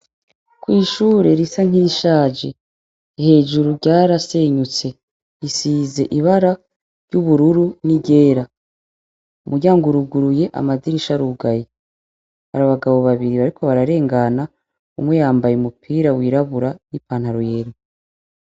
Ko'ishure risa nk'irishaje hejuru ryarasenyutse isize ibara ry'ubururu n'igera muyanguruguruye amadirisha rugaye bari abagabo babiri bariko bararengana umuyambaye umupira wirabura n'i pantaruyela.